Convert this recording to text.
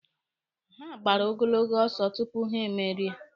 Ha gbara ogologo ọsọ tupu ha emerie.